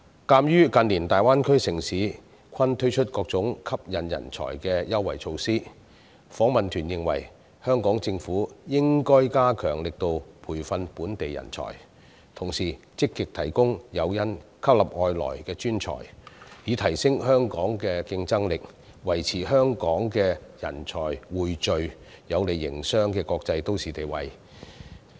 鑒於近年大灣區城市均推出各種吸引人才的優惠措施，訪問團認為香港政府應該加大力度培訓本地人才，同時積極提供誘因吸納外來專才，以提升香港的競爭力，維持香港人才匯聚、有利營商的國際都市地位。